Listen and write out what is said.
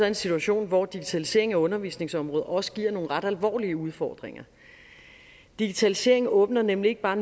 en situation hvor digitaliseringen af undervisningsområdet også giver nogle ret alvorlige udfordringer digitaliseringen åbner nemlig ikke bare